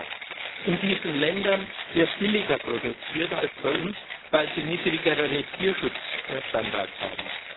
Aber in diesen Ländern wird billiger produziert als bei uns, weil sie niedrigere Tierschutzstandards haben.